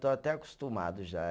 Estou até acostumado já.